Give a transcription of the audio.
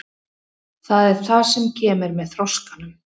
Það er það sem kemur með þroskanum.